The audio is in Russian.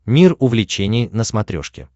мир увлечений на смотрешке